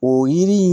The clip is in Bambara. O yiri in